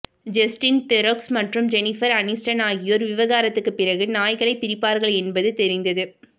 Justin Theroux மற்றும் Jennifer Aniston ஆகியோர் விவாகரத்துக்குப் பிறகு நாய்களைப் பிரிப்பார்கள் என்பது தெரிந்தது